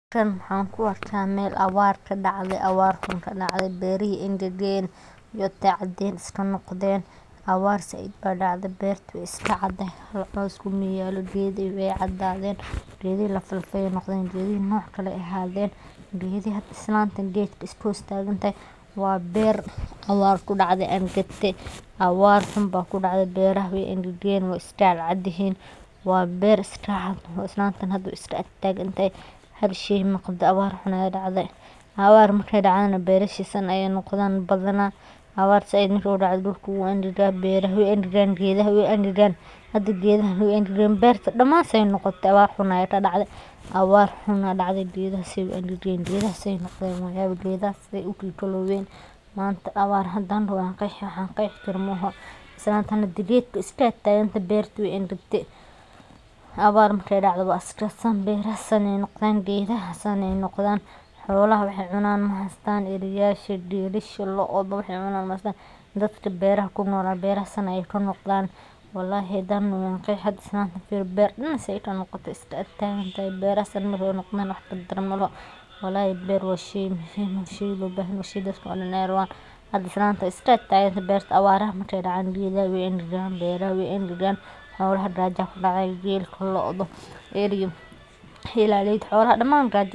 Tan waxan ku arka meel awar eh ee kadacde berihi angagen cadin iska noqden awar said ba dacde beerta we iska cadahay hos kuma yalo geedihi wee cadadhen geedi lafa lafa ayey noqden, geedihi noc kale ayey noqden, geedkan hada islanta iska hostagantahay waa beer awar kudacde angate awar xun baa kudacde beeraha we angagen we iska cad cad yihin beer iska cad islantan hada wey iska agtagantahay hal shey muqdo abar aya dacde marke awar dacdana beeraha badana san ayey noqdan afar badana ege san udacdo dulka wu angaga beera wey angagan geedhaha we angagen hada geedaha wey angagen beerta daman se noqote awar xun aya kadacde geedaha se u angagen waa yawi geedaha se noqden waa yawi manta awar hadan doho wan qeexi wax an qeexi karo maaho, islantan hada geedka we iska agtagantahay awar marki ee dacdo waa iska samri geedaha san ayey noqdan xolaha wax ee cunan mahastan eriyasha gelasha lodha wax ee cunan mahastan dadka beraha kunol beeraha san ayey kanoqdan walahi hadan doho wan qeexi firi hada beerta se kanoqote wey iska agtagantahay beeraha san marke noqdan wax kadaran malaho walahi beer waa shey muhiim ah waa shey lo bahan yaha dadka dan ee rawan hada islantan we iska agtagantahay marki awaraha ee dacan beeraha we angagen xolaha gaja aya kudacda gelka loda ethaleyda daman gaja aya kudacde.